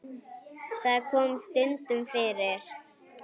Það kom stundum fyrir.